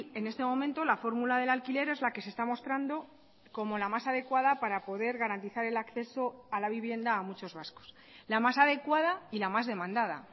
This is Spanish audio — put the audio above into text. en este momento la fórmula del alquiler es la que se está mostrando como la más adecuada para poder garantizar el acceso a la vivienda a muchos vascos la más adecuada y la más demandada